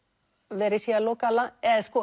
verið sé að loka